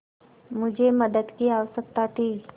मुझे मदद की आवश्यकता थी